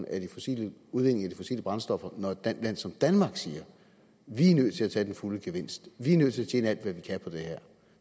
af de fossile brændstoffer når et land som danmark siger at vi er nødt til at tage den fulde gevinst og vi er nødt til at vi kan på det her